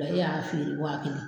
O la e y'a feere wa kelen.